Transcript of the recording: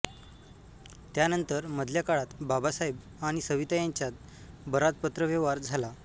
त्यानंतर मधल्या काळात बाबासाहेब आणि सविता यांच्यात बराच पत्रव्यव्हार झाला